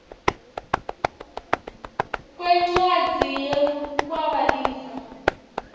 kwencwadzi yekwaba lifa